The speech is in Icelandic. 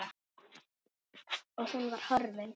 Og hún var horfin.